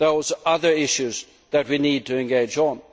Those are other issues that we need to engage